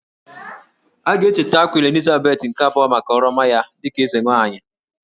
A ga-echeta Queen Elizabeth nke abụọ maka ọrụ ọma ya dịka eze nwaanyị